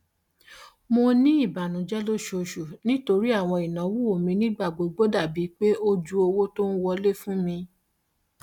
mo ní ìbànújẹ lóṣooṣù nítorí àwọn ìnáwó mi nígbàgbogbo dàbí pé ó ju owó tó ń wọlé fún mi